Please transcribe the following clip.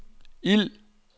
ild